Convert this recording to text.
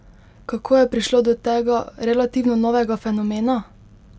Kako je prišlo do tega, relativno novega fenomena?